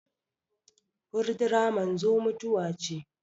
furdura manzo mutuwa ce